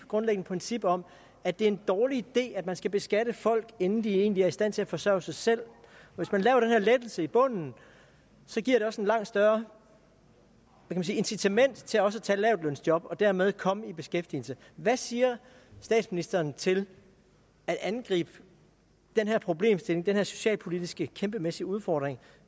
grundlæggende princip om at det er en dårlig idé at man skal beskatte folk inden de egentlig er i stand til at forsørge sig selv hvis man laver den her lettelse i bunden giver det også et langt større incitament til også at tage lavtlønsjob og dermed komme i beskæftigelse hvad siger statsministeren til at angribe den her problemstilling den her socialpolitiske kæmpemæssige udfordring